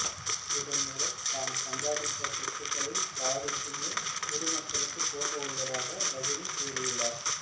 இதன்மூலம் தான் சம்பாதித்த சொத்துக்களில் பாதிக்கு மேல் பொதுமக்களுக்கு போகவுள்ளதாக ரஜினி கூறியுள்ளார்